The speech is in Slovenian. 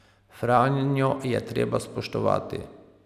Franjo je treba spoštovati.